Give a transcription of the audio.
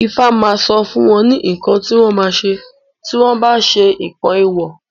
Ifá ma sọ fún wọn ní nǹkan tí wọ́n ma ṣe tí wọ́n bá ṣe nǹkan èwọ̀